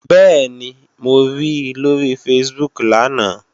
Bẹ́ẹ̀ni, mo ri lóri Facebook lánàá